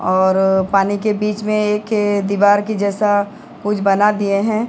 और पानी के बीच में एक दीवार के जैसा कुछ बना दिए हैं।